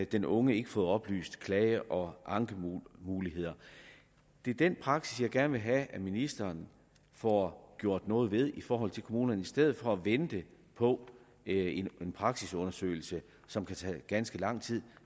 den unge ikke fået oplyst klage og ankemulighederne det er den praksis som jeg gerne vil have at ministeren får gjort noget ved i forhold til kommunerne i stedet for at vente på en praksisundersøgelse som kan tage ganske lang tid